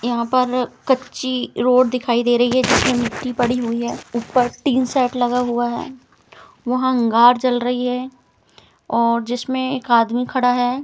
यहाँ पर कच्ची रोड दिखाई दे रही है जिसमें मिट्टी पड़ी हुई है ऊपर टीन शेड लगा हुआ है वहाँ अंगार जल रही है और जिसमें एक आदमी खड़ा है।